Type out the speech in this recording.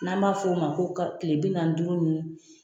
N'an b'a f'o ma ko kilebinaani ni duuru